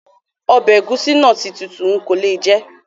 Ọbẹ egusi na ti tutu, nko le jè